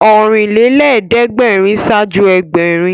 Ọ̀rìnlélẹ́ẹ̀dẹ́gbèrin ṣáájú Ẹgbẹ̀rin